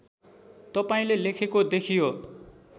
तपाईँले लेखेको देखियो